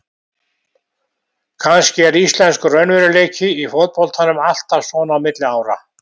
Kannski er íslenskur raunveruleiki í fótboltanum alltaf svona á milli ára.